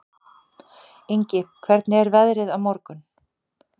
Ingi, hvernig er veðrið á morgun?